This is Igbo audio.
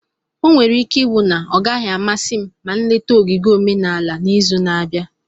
Onwere ike iwu na ọ gaghị amasị m ma nleta ogige omenala n'izu na-abịa.